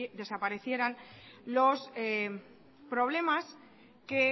desaparecieran los problemas que